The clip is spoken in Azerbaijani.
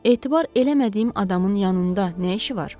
Etibar eləmədiyim adamın yanında nə işi var?